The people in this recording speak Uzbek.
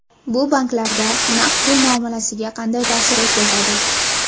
Bu banklarda naqd pul muomalasiga qanday ta’sir o‘tkazadi?